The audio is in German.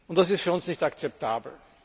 Das ist für uns nicht akzeptabel.